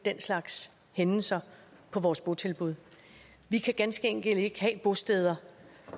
den slags hændelser på vores botilbud vi kan ganske enkelt ikke have bosteder